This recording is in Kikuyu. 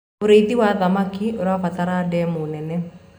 ũrĩithi wa thamakĩ ũrabatara ndemu nene